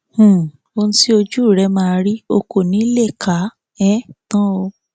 um ohun tí ojú rẹ máa rí o kò ní í lè kà á um tán o